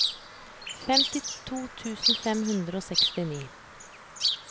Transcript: femtito tusen fem hundre og sekstini